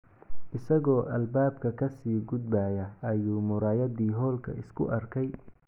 Isagoo albaabka ka sii gudbaya ayuu muraayaddii hoolka isku arkay.